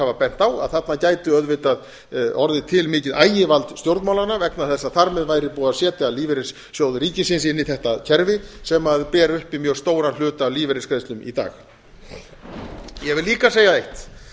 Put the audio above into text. hafa bent á að þarna gæti auðvitað orðið til mikið ægivald stjórnmálanna vegna þess að þar með væri búið að setja lífeyrissjóð ríkisins inn í þetta kerfi sem ber uppi mjög stóran hluta af lífeyrisgreiðslum í dag ég vil líka segja eitt